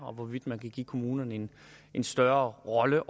hvorvidt man kunne give kommunerne en en større rolle